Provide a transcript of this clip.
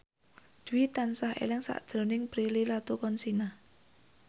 Dwi tansah eling sakjroning Prilly Latuconsina